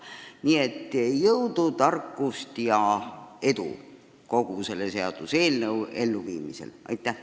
Nii et jõudu, tarkust ja edu selle seaduseelnõu elluviimisel!